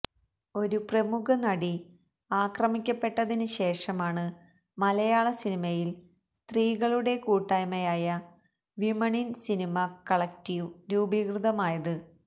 ഒരു പ്രമുഖനടി ആക്രമിക്കപ്പെട്ടതിന് ശേഷമാണ് മലയാള സിനിമയില് സ്ത്രീകളുടെ കൂട്ടായ്മയായ വിമന് ഇന് സിനിമ കളക്ടീവ് രൂപീകൃതമായത്